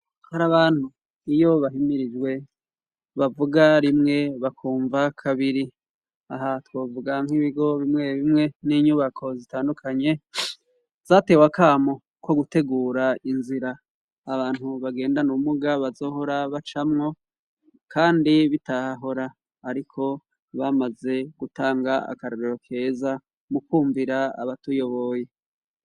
Hari abantu iyo bahimirijwe, bavuga rimwe bakumva kabiri. Aha twovuga nk'ibigo bimwe bimwe n'inyubako zitandukanye zatewe akamo ko gutegura inzira abantu bagendana ubumuga bazohora bacamwo, kandi bitahora, ariko bamaze gutanga akarorero keza mu kumvira abatuyoboye.